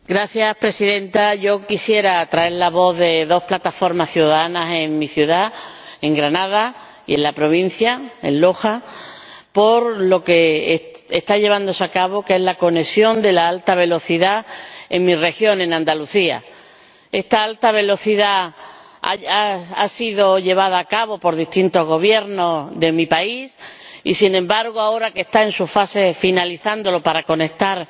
Señora Presidenta, yo quisiera traer la voz de dos plataformas ciudadanas de mi ciudad, Granada, y de la provincia, de Loja, por lo que está llevándose a cabo en relación con la conexión de alta velocidad en mi región, en Andalucía. Esta conexión de alta velocidad ha sido llevada a cabo por distintos Gobiernos de mi país y, sin embargo, ahora que está en su fase de finalización, para conectar